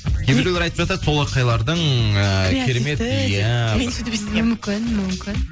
кейбіреулер айтып жатады солақайлардың ыыы креативті деп иә мен сүйтіп естігенмін мүмкін мүмкін